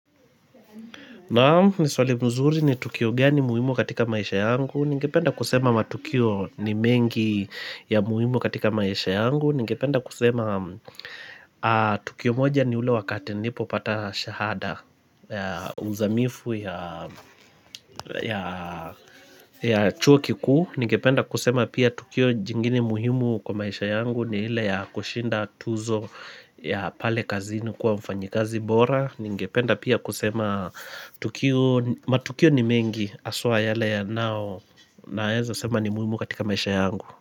Naam ni swali mzuri ni Tukio gani muhimu katika maisha yangu Ningependa kusema matukio ni mengi ya muhimu katika maisha yangu Ningependa kusema Tukio moja ni ule wakati nilipopata shahada ya uzamifu ya ya chuo kikuu Ningependa kusema pia Tukio jingine muhimu kwa maisha yangu ni ile ya kushinda tuzo ya pale kazini kuwa mfanyikazi bora Ningependa pia kusema tukio matukio ni mengi aswa yale yanao Naeza sema ni muimu katika maisha yangu.